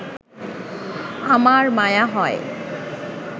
আমার মায়া হয়